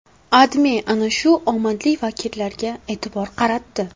AdMe ana shu omadli vakillarga e’tibor qaratdi .